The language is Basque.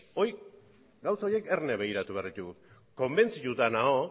gauza horiek erne begiratu behar ditugu konbentzituta nago